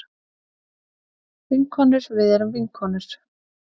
Vinkonur við erum vinkonur.